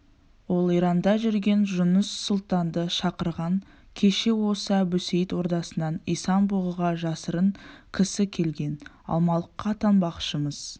ол иранда жүрген жұныс сұлтанды шақырған кеше осы әбусейіт ордасынан исан-бұғыға жасырын кісі келген алмалыққа аттанбақшы-мыс